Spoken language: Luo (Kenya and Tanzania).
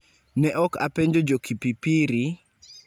Ne ok apenjo jo Kipipiri,